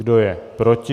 Kdo je proti?